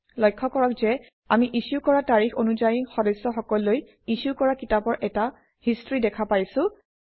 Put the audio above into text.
লক্ষ্য কৰক যে আমি ইছ্যু কৰা তাৰিখ অনুযায়ী সদস্যসকললৈ ইছ্যু কৰা কিতাপৰ এটা হিষ্ট্ৰী দেখা পাইছোঁ